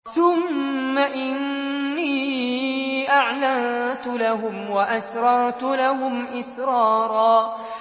ثُمَّ إِنِّي أَعْلَنتُ لَهُمْ وَأَسْرَرْتُ لَهُمْ إِسْرَارًا